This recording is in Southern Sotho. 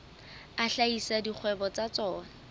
a hlahisa dikgwebo tsa tsona